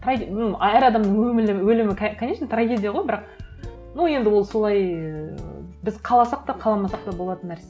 ну әр адамның өлімі конечно трагедия ғой бірақ ну енді ол солай ііі біз қаласақ та қаламасақ та болатын нәрсе